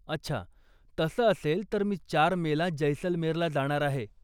अच्छा, तसं असेल तर मी चार मेला जैसलमेरला जाणार आहे.